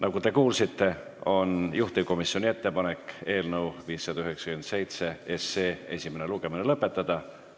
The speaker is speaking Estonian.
Nagu te kuulsite, on juhtivkomisjoni ettepanek eelnõu 597 esimene lugemine lõpetada.